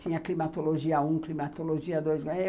Tinha climatologia um, climatologia dois.